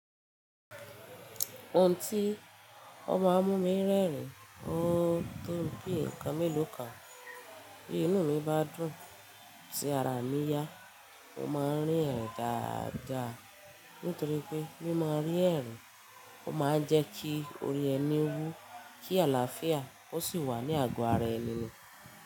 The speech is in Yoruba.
Ohun tí ó máa ń mú mi rẹ́rìn, ó to bí nǹkan mélòó kan. Bí inú mi bá dùn, tí ara mi yá, mo máa ń rín ẹ̀rin dáadáa. Nítorí pé mí maa rín ẹ̀rin, ó máa ń jẹ́ kí ori ẹni wú, kí àlàáfíà ó sì wà ní àgọ́ ara ẹni.